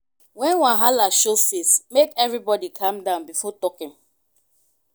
wen wahala show face make everybody calm down before talking.